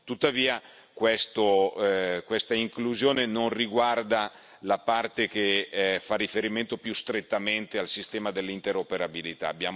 Tuttavia, questa inclusione non riguarda la parte che fa riferimento più strettamente al sistema dell'interoperabilità.